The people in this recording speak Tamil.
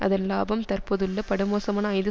அதன் இலாபம் தற்போதுள்ள படுமோசமான ஐந்து